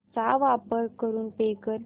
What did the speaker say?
चा वापर करून पे कर